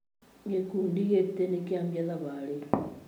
Gĩkundi gĩtĩ nĩkĩanjia thabarĩ